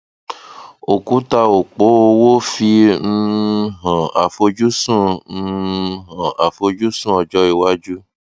òkùtà òpó owó fi um hàn àfojúsùn um hàn àfojúsùn ọjọ iwájú